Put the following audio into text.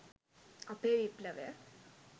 අපේ විප්ලවය